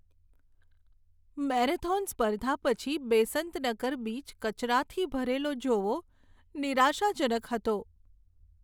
Marathon સ્પર્ધા પછી Besant Nagar beach કચરાથી ભરેલો જોવો નિરાશાજનક હતો.